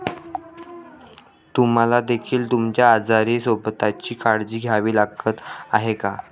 तुम्हाला देखील तुमच्या आजारी सोबत्याची काळजी घ्यावी लागत आहे का?